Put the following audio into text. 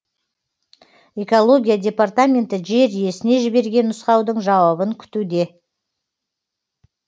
экология департаменті жер иесіне жіберген нұсқаудың жауабын күтуде